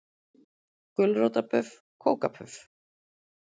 Gulrótarbuff kókapuff.